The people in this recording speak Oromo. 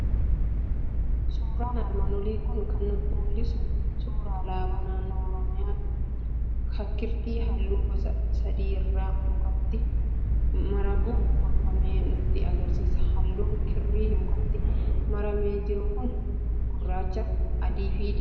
Suuraan armaan olii kun kan nutti mul'isu suuraa alaabaa naannoo Oromiyaa kirtii halluu gosa sadii irraa mukatti maramuun tolfamee nutti argisiisa. Halluun kirrii mukatti maramee jiru kanaa gurraachaa, adii fi diimaadha.